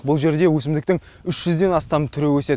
бұл жерде өсімдіктің үш жүзден астам түрі өседі